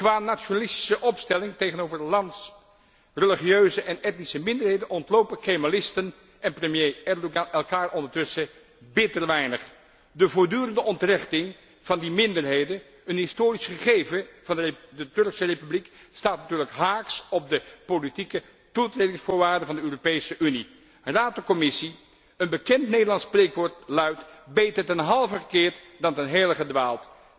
Qua nationalistische opstelling tegenover 's lands religieuze en etnische minderheden ontlopen kemalisten en premier Erdogan elkaar ondertussen bitter weinig. De voortdurende ontrechting van die minderheden een historisch gegeven van de Turkse Republiek staat natuurlijk haaks op de politieke toetredingsvoorwaarden van de Europese Unie. Raad en Commissie, een bekend Nederlands spreekwoord luidt beter ten halve gekeerd, dan ten hele gedwaald.